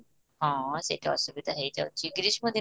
ହଁ, ସେଇଟା ଅସୁବିଧା ହେଇଯାଉଛି ଗ୍ରୀଷ୍ମ ଦିନ